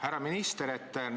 Härra minister!